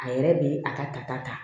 A yɛrɛ be a ka ta